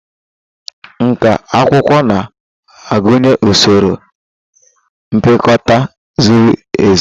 Nkà akwụkwọ na-agụnye usoro mpịakota ziri ezi.